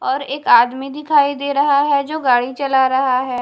और एक आदमी दिखाई दे रहा है जो गाड़ी चला रहा है।